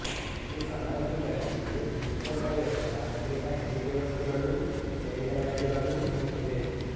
ಈ ಸಮಾಧಿಗಳಲ್ಲಿ ನಿತ್ಯೋಪಯೋಗದ ಅನೇಕ ಹೆಣಿಗೆ ವಸ್ತುಗಳೂ ನೇಯ್ದ ಬಟ್ಟೆಗಳೂ ಸಿಕ್ಕಿವೆ